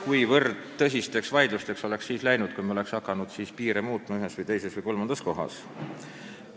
Kuid ma ei kujuta ette, kuivõrd tõsisteks vaidlusteks oleks läinud, kui me oleksime siis hakanud piire ühes, teises või kolmandas kohas muutma.